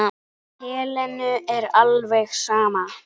Helenu er alveg sama.